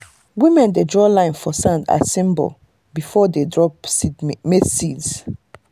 women dey draw line for sand as symbol before dem drop maize seeds.